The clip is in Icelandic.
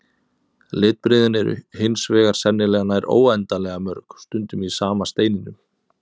Litbrigðin eru hins vegar sennilega nær óendanlega mörg, stundum í sama steininum.